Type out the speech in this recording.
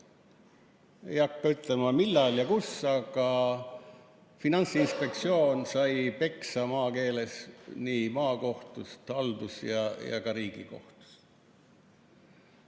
Ei hakka ütlema, millal ja kus, aga Finantsinspektsioon sai maakeeles öeldes peksa nii maa-, haldus- kui ka Riigikohtus.